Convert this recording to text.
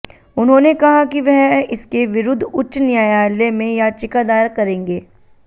उन्होंने कहा कि वह इसके विरुद्ध उच्च न्यायालय में याचिका दायर करेंगे